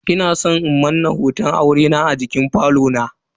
Ina san in Manna hoton aurena a jikin bangon falo na.